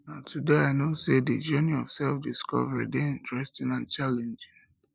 na today i know sey di journey of selfdiscovery dey interesting and challenging